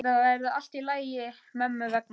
Þetta verður allt í lagi mömmu vegna.